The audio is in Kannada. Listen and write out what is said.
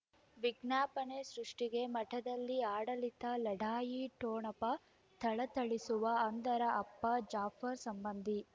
ವಿಜ್ಞಾಪನೆ ಸೃಷ್ಟಿಗೆ ಮಠದಲ್ಲಿ ಆಡಳಿತ ಲಢಾಯಿ ಠೊಣಪ ಥಳಥಳಿಸುವ ಅಂದರ ಅಪ್ಪ ಜಾಫರ್ ಸಂಬಂಧಿ